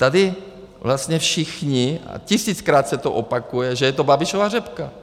Tady vlastně všichni - a tisíckrát se to opakuje, že je to Babišova řepka.